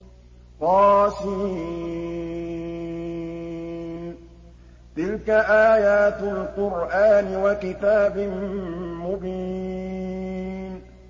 طس ۚ تِلْكَ آيَاتُ الْقُرْآنِ وَكِتَابٍ مُّبِينٍ